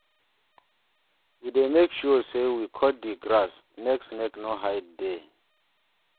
We dey make sure sey we cut di grass, make snake no hide there.